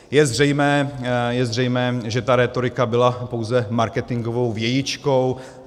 Je zřejmé, že ta rétorika byla pouze marketingovou vějičkou.